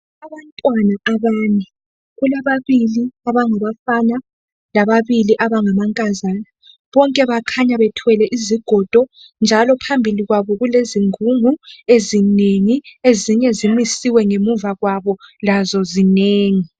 Abantwana abane, kulababili abangabafana lababili abangamankazana bonke bakhanya bethwele izigodo njalo phambili kwabo kulezingungu ezinengi ezinye zimisiwe ngemuva kwabo lazo zinengi.